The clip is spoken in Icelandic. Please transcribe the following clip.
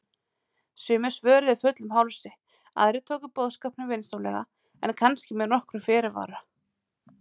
Sumir svöruðu fullum hálsi, aðrir tóku boðskapnum vinsamlega en kannski með nokkrum fyrirvara.